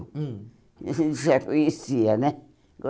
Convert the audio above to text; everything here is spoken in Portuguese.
Hum A gente já conhecia, né?